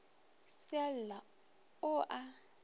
se a lla o a